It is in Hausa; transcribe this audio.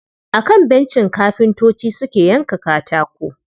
A kan bencin kafintocin suke yanka katako.